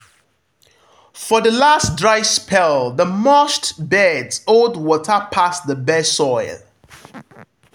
for the last dry spell the mulched beds hold water pass the bare soil.